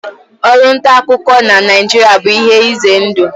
Ọrụ nta akụkọ na Naịjirịa bụ ihe ize ndụ.